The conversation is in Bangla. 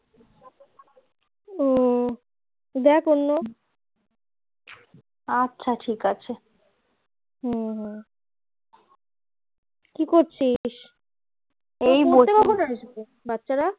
ও দেখ অন্য আচ্ছা ঠিক আছে হম হম কি করছিস পড়তে কখন আসবে বাচ্চারা